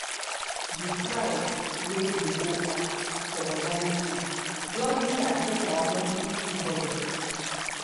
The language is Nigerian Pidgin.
di price wey dey go up for organic food don really affect our monthly food budget.